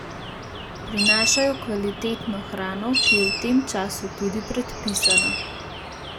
Prinašajo kvalitetno hrano, ki je v tem času tudi predpisana.